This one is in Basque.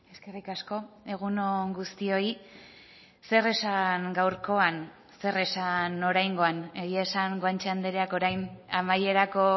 eskerrik asko egun on guztioi zer esan gaurkoan zer esan oraingoan egia esan guanche andreak orain amaierako